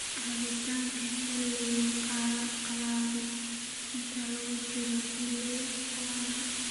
Caawinta Xiliga Qalalan Inta lagu jiro xilliga qalalan.